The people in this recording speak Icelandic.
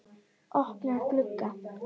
Opnar glugga.